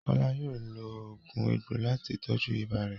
Kola yóò lo oogun egbo lati tọju ibà rẹ.